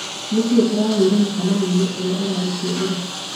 nĩkĩĩ tũragĩire mũcemanio-inĩ ũrĩa ũrarĩkuo ira